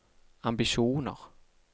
ambisjoner